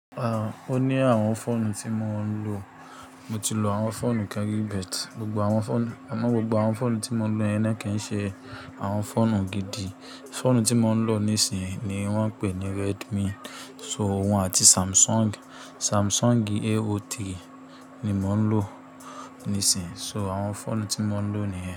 Ah! Ó ní àwọn fóònù tí mo ń lò. Mo ti lò àwọn fóònù Kan ri but. Amọ̀ gbogbo àwọn fóònù tí mo ń lo yẹn naa kí ń ṣe àwọn fóònù gidi. Fóònù tí mo ń lò nísinsìnyí ni wọ́n ń pè ní Redmi, so òun àti Samsung. Samsung A03 ni mò ń lò nísinsìnyí. So àwọn fóònù tí mo ń lò nìyẹn.